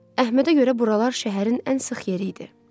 Əhmədə görə buralar şəhərin ən sıx yeri idi.